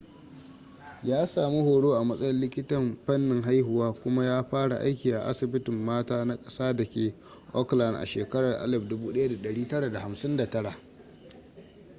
ya sami horo a matsayin likitan fannin haihuwa kuma ya fara aiki a asibitin mata na ƙasa da ke auckland a shekarar 1959